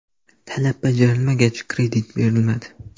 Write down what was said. Talab bajarilmagach, kredit berilmadi”.